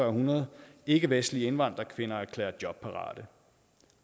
hundrede ikkevestlige indvandrerkvinder erklæret jobparate